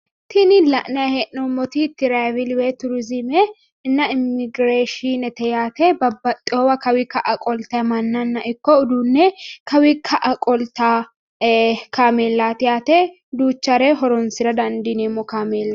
Tini la'nayi hee'noommoti tiraavili turiziimenna immigiraashiinete yaate babbaxxeewo kawii ka"a qoltay mannanna ikko uduunne kawii ka"a qoltawo kaameelaati yaate duuchare horonsi'ra dandiineemmo kaameelaati.